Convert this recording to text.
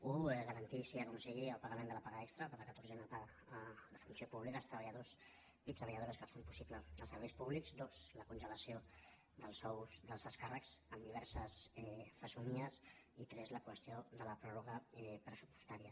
un garantir sigui com sigui el pagament de la paga extra de la catorzena paga de funció pública als treballadors i treballadores que fan possibles els serveis públics dos la congelació dels sous dels alts càrrecs amb diverses fesomies i tres la qüestió de la pròrroga pressupostària